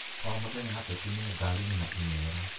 O mũthenya ateti me ngarinĩ na imero